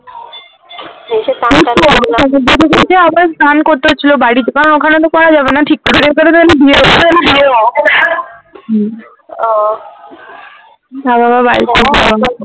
সমুদ্র আবার স্নান করতে হচ্ছিলো বাড়িতে কারণ ওখানে তো করা যাবেনা ঠিক করে